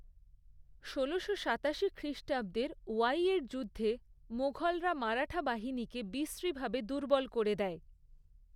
ষোলোশো সাতাশি খ্রিষ্টাব্দের ওয়াইয়ের যুদ্ধে মুঘলরা মারাঠা বাহিনীকে বিশ্রীভাবে দুর্বল করে দেয়।